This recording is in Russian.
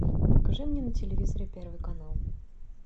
покажи мне на телевизоре первый канал